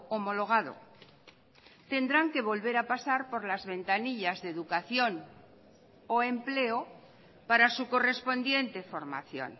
homologado tendrán que volver a pasar por las ventanillas de educación o empleo para su correspondiente formación